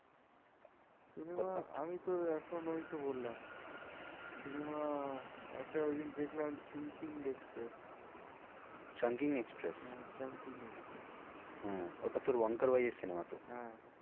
Cinema আমি তো এখন ওই তো বললাম cinema একটা ওই দিন দেখলাম express chungking express হ্যাঁ chungking express হ্যাঁ ওটা তোর cinema তো